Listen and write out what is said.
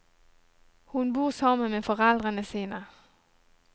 Hun bor sammen med foreldrene sine.